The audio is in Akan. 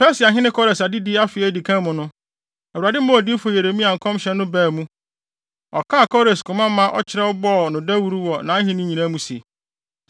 Persiahene Kores adedi afe a edi kan mu no, Awurade maa odiyifo Yeremia nkɔmhyɛ no baa mu. Ɔkaa Kores koma ma ɔkyerɛw bɔɔ no dawuru wɔ nʼahenni nyinaa mu se,